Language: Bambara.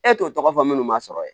E t'o tɔgɔ fɔ minnu ma sɔrɔ ye